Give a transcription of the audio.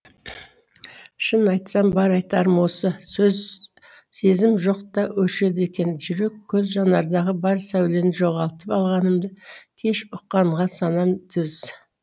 шын айтарым бар айтарым осы сөз сезім жоқ та өшеді екен жүрек көз жанардағы бар сәулені жоғалтып алғанымды кеш ұққанға санам төз